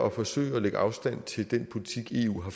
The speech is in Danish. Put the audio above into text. at forsøge at lægge afstand til den politik eu har